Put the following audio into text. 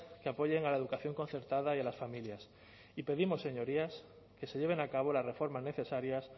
que apoyen a la educación concertada y a las familias y pedimos señorías que se lleven a cabo las reformas necesarias